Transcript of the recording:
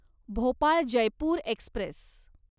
Bhopal Jaipur Express